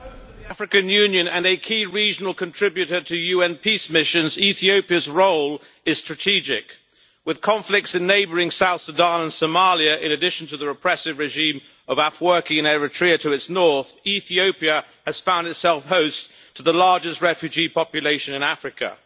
Mr President, as host of the African Union and a key regional contributor to UN peace missions, Ethiopia's role is strategic. With conflicts in neighbouring South Sudan and Somalia, in addition to the repressive regime of Afwerki in Eritrea to its north, Ethiopia has found itself host to the largest refugee population in Africa.